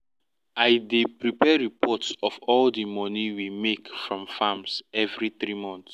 i dey prepare reports of all di money we make from farms every 3 months